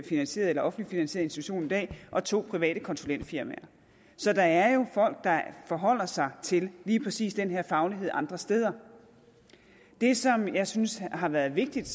finansieret eller offentligt finansieret institution og to private konsulentfirmaer så der er jo folk der forholder sig til lige præcis den her faglighed andre steder det som jeg synes har været vigtigt